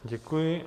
Děkuji.